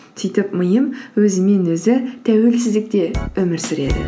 сөйтіп миым өзімен өзі тәуелсіздікте өмір сүреді